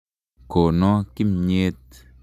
Kono kimnyet .